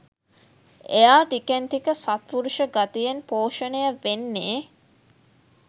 එයා ටිකෙන් ටික සත්පුරුෂ ගතියෙන් පෝෂණය වෙන්නේ